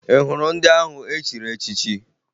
Ị hụrụ ndị ahụ e chiri echichi?